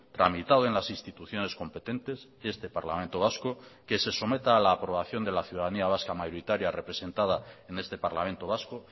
tramitado en las instituciones competentes este parlamento vasco que se someta a la aprobación de la ciudadanía vasca mayoritaria representada en este parlamento vasco